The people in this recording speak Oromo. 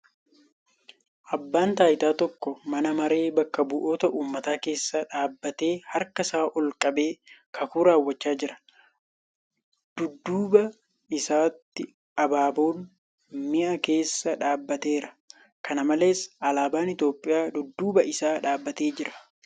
Abbaan taayitaa tokko mana maree bakka bu'oota uummataa keessa dhaabbatee harka isaa ol qabee kakuu raawwachaa jira. Dudduuba isaatti abaaboon mi'a keessa dhaabbateera. Kana malees, alaabaan Itiyoophiyaa dudduuba isaa dhaabbatee jira.